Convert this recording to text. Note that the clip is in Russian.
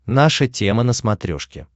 наша тема на смотрешке